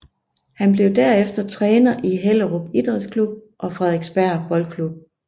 Han blev derefter træner i Hellerup Idrætsklub og Frederiksberg Boldklub